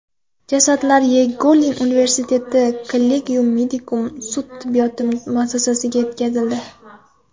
Jasadlar Yagellon universitetining Collegium Medicum sud tibbiyoti muassasasiga yetkazildi.